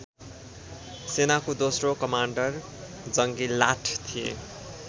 सेनाको दोस्रो कमान्डर जंगीलाठ थिए